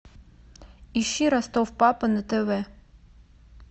ищи ростов папа на тв